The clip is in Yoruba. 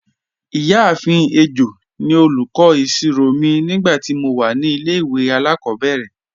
Iyaafin Ejo ni olúkọ̀ isírò mi nígbàtí mó wà ní ilẹ̀-ìwé aláàkòbẹ̀rẹ̀